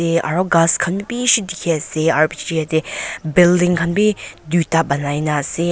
te aro ghas khan bi bishi dikhiase aro bichae tae building bi duita nanai na ase.